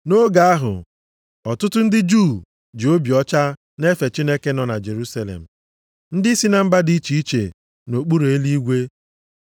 Nʼoge ahụ, ọtụtụ ndị Juu ji obi ọcha na-efe Chineke nọ na Jerusalem. Ndị si na mba dị iche iche nʼokpuru eluigwe.